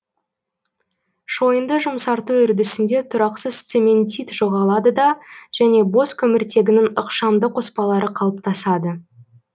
шойынды жұмсарту үрдісінде тұрақсыз цементит жоғалады да және бос көміртегінің ықшамды қоспалары қалыптасады